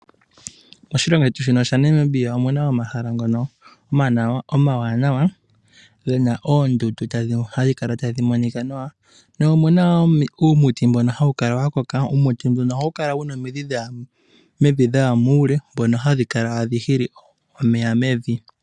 Moshilongo shetu Namibia omuna omahala ngono omawanawa, gena oondundu hadhi monikwa nawa ,mo omuna woo uumiti womidhi dhaya muule ndhoka hadhi hili omeya mevi.